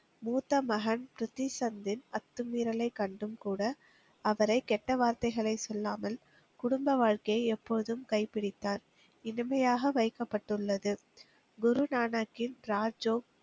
மூத்த மகன் ப்ரித்தி சந்தின் அத்துமீறலைக் கண்டும் கூட, அவரை கெட்ட வார்த்தைகளை சொல்லாமல் குடும்ப வாழ்க்கையை எப்போதும் கைபிடித்தார். இனிமையாக வைக்கப்பட்டுள்ளது. குரு நானாக்கின் ராஜோ,